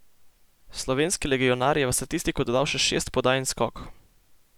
Slovenski legionar je v statistiko dodal še šest podaj in skok.